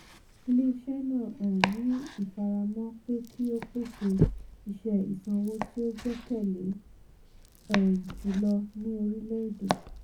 ilé-iṣẹ́ náà um ní ifaramọ pé kí o pèsè iṣẹ́ ìsanwó tí o gbẹkẹle um jùlọ ní orílẹ̀ èdè. um